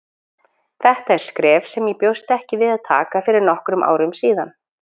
Þetta er skref sem ég bjóst ekki við að taka fyrir nokkrum árum síðan.